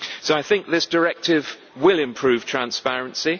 So I think this directive will improve transparency.